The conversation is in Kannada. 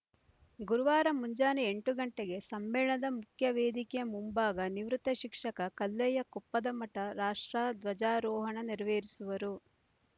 ಗುರುವಾರ ಮುಂಜಾನೆ ಎಂಟು ಗಂಟೆಗೆ ಸಮ್ಮೇಳನದ ಮುಖ್ಯವೇದಿಕೆಯ ಮುಂಭಾಗ ನಿವೃತ್ ಶಿಕ್ಷಕ ಕಲ್ಲಯ್ಯ ಕೊಪ್ಪದಮಠ ರಾಷ್ಟ್ರಧ್ವಜಾರೋಹಣ ನೇರವೇರಿಸುವರು